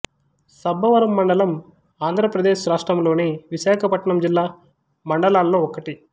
సబ్బవరం మండలం ఆంధ్రప్రదేశ్ రాష్ట్రములోని విశాఖపట్నం జిల్లా మండలాల్లో ఒకటి